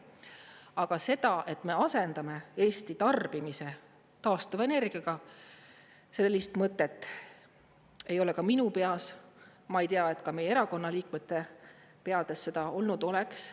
Aga seda, et me asendame Eesti tarbimise taastuvenergiaga, sellist mõtet ei ole ka minu peas, ma ei tea, et ka meie erakonna liikmete peades seda olnud oleks.